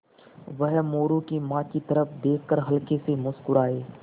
वह मोरू की माँ की तरफ़ देख कर हल्के से मुस्कराये